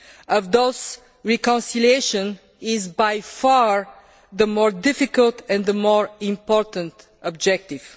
Of those, reconciliation is by far the more difficult and the more important objective.